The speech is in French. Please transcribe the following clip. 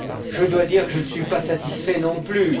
Je dois dire que je ne suis pas satisfait non plus.